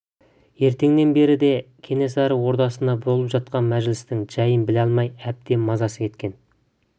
ертеңнен бері де кенесары ордасында болып жатқан мәжілістің жайын біле алмай әбден мазасы кеткен